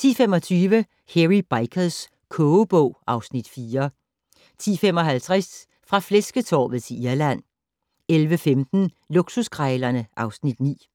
10:25: Hairy Bikers kogebog (Afs. 4) 10:55: Fra flæsketorvet til Irland 11:15: Luksuskrejlerne (Afs. 9)